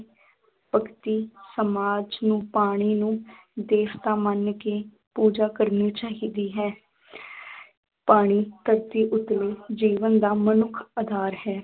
ਭਗਤੀ ਸਮਾਜ ਨੂੰ ਪਾਣੀ ਨੂੰ ਦੇਵਤਾ ਮੰਨ ਕੇ ਪੂਜਾ ਕਰਨੀ ਚਾਹੀਦੀ ਹੈ ਪਾਣੀ ਧਰਤੀ ਉੱਤਲੇ ਜੀਵਨ ਦਾ ਮਨੁੱਖ ਆਧਾਰ ਹੈ।